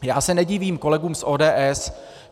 Já se nedivím kolegům z ODS.